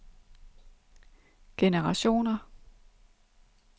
generationer